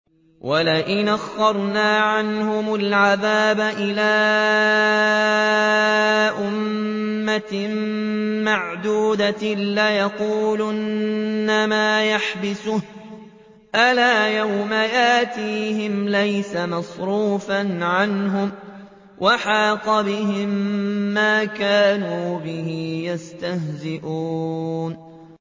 وَلَئِنْ أَخَّرْنَا عَنْهُمُ الْعَذَابَ إِلَىٰ أُمَّةٍ مَّعْدُودَةٍ لَّيَقُولُنَّ مَا يَحْبِسُهُ ۗ أَلَا يَوْمَ يَأْتِيهِمْ لَيْسَ مَصْرُوفًا عَنْهُمْ وَحَاقَ بِهِم مَّا كَانُوا بِهِ يَسْتَهْزِئُونَ